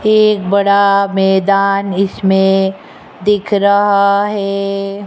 एक बड़ा मैदान इसमें दिख रहा है।